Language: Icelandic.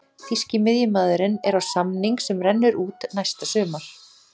Þýski miðjumaðurinn er á samning sem rennur út næsta sumar.